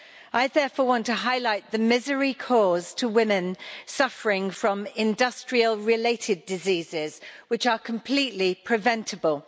I therefore want to highlight the misery caused to women suffering from industrial related diseases, which are completely preventable.